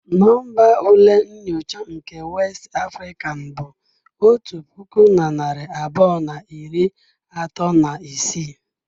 Nọmba ule nyocha nke West African bụ otu puku na narị abụọ na iri atọ na isii.